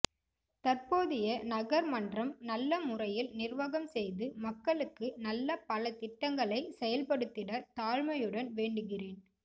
தற்போதிய நகர் மன்றம் நல்ல முறையில் நிர்வாகம் செய்து மக்களுக்கு நல்ல பல திட்டங்களை செயல்படுத்திட தாழ்மையுடன் வேண்டுகிறேன்